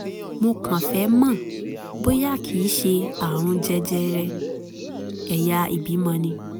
mo kàn fẹ́ mọ̀ bóyá kìí ṣe ààrùn jẹjẹrẹ ẹ̀yà ìbímọ ni